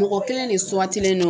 Mɔgɔ kelen de sugantilen no